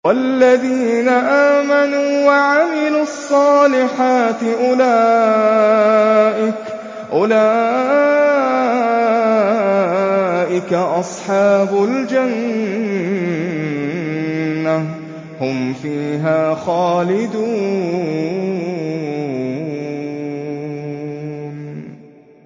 وَالَّذِينَ آمَنُوا وَعَمِلُوا الصَّالِحَاتِ أُولَٰئِكَ أَصْحَابُ الْجَنَّةِ ۖ هُمْ فِيهَا خَالِدُونَ